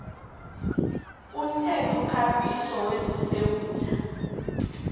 umthethokambiso wezezindlu wesewula